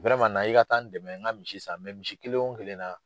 na i ka taa n dɛmɛ n ka misi san misi kelen o kelen na